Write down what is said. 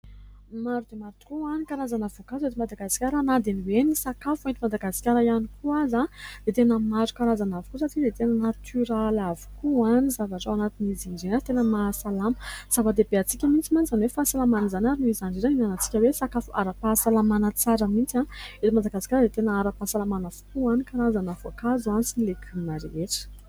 Maro dia maro tokoa ny karazana voankazo eto Madagasikara na dia ny hoe ny sakafo eto Madagasikara ihany koa aza dia tena maro karazana avokoa satria dia tena natoraly avokoa ny zavatra, ao anatin'izany izy ireny aza dia tena mahasalama ; zava-dehibe amitsika mihintsy mantsy izany hoe fahasalaman'izany ary no izany indrindra aza no ihinanatsika hoe sakafo ara-pahasalamana tsara mintsy, eto Madagasikara dia tena ara-pahasalamana avokoa ny karazana voankazo sy ny legioma rehetra.